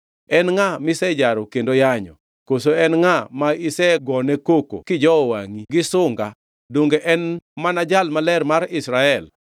En ngʼa misejaro kendo yanyo? Koso en ngʼa ma isegone koko kijowo wangʼi, gi sunga. Donge en mana Jal Maler mar Israel!